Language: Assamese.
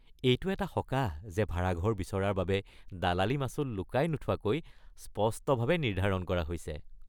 এইটো এক সকাহ যে ভাড়াঘৰ বিচৰাৰ বাবে দালালি মাচুল লুকাই নোথোৱাকৈ স্পষ্টভাৱে নিৰ্ধাৰণ কৰা হৈছে।